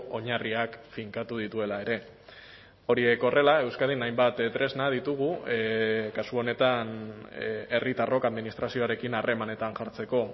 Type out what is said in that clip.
oinarriak finkatu dituela ere horiek horrela euskadin hainbat tresna ditugu kasu honetan herritarrok administrazioarekin harremanetan jartzeko